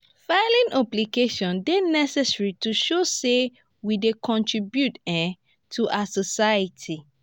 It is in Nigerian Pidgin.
filing obligations dey necessary to show say we dey contribute um to our society.